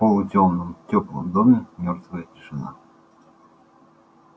в полутёмном тёплом доме мёртвая тишина